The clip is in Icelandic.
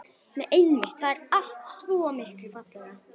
Nei einmitt, þar er allt svo miklu fallegra.